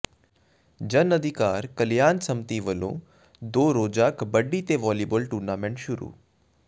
ਜਨ ਅਧਿਕਾਰ ਕਲਿਆਣ ਸੰਮਤੀ ਵੱਲੋਂ ਦੋ ਰੋਜ਼ਾ ਕਬੱਡੀ ਤੇ ਵਾਲੀਬਾਲ ਟੂਰਨਾਮੈਂਟ ਸ਼ੁਰੂ